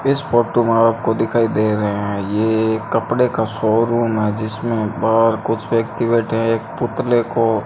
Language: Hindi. इस फोटो में आपको दिखाई दे रहे हैं ये एक कपड़े का शोरूम है जिसमें बाहर कुछ व्यक्ति बैठे हैं एक पुतले को --